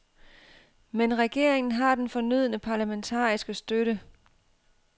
Men regeringen har den fornødne parlamentariske støtte.